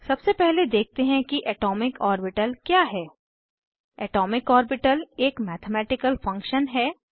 सबसे पहले देखते हैं कि एटॉमिक ऑर्बिटल क्या है एटॉमिक ऑर्बिटल एक मैथमैटिकल फंक्शन है